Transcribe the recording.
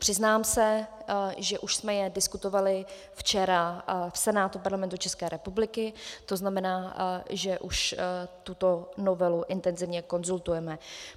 Přiznám se, že už jsme je diskutovali včera v Senátu Parlamentu České republiky, to znamená, že už tuto novelu intenzivně konzultujeme.